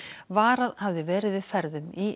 varað hafði verið við ferðum í